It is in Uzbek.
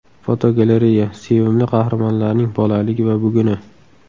Fotogalereya: Sevimli qahramonlarning bolaligi va buguni.